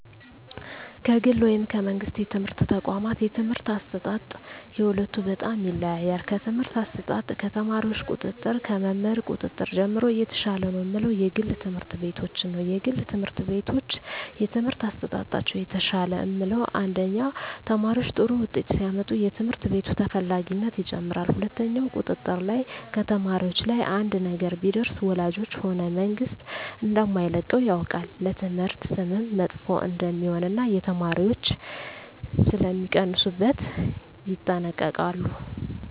ከግል ወይም ከመንግሥት የትምህርት ተቋዋማት የትምህርት አሰጣጥ የሁለቱ በጣም ይለያያል ከትምህርት አሰጣጥ ከተማሪዎች ቁጥጥር ከመምህር ቁጥጥር ጀምሮ የተሻለ ነው ምለው የግል ትምህርት ቤቶችን ነዉ የግል ትምህርት ቤቶች የትምህርት አሠጣጣቸው የተሻለ ምለው አንደኛ ተማሪዎች ጥሩ ውጤት ሲያመጡ የትምህርት ቤቱ ተፈላጊነት ይጨምራል ሁለትኛው ቁጥጥር ላይ ከተማሪዎች ላይ አንድ ነገር ቢደርስ ወላጆች ሆነ መንግስት እደማይለቀው ያውቃል ለትምህርት ስምም መጥፎ እደሜሆን እና የተማሪዎች ሥለሚቀንሡበት ይጠነቀቃሉ